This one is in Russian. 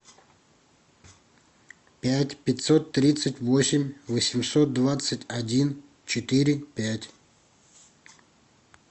пять пятьсот тридцать восемь восемьсот двадцать один четыре пять